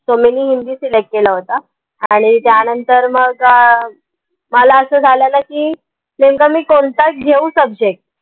so मिनी हिंदीselect केला होता आणि त्या नंतर मग अं मला असं झालेलं की नेमका मी कोनता घेऊ subject?